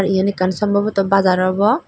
eyen ekkan sombobotoh bazar obow.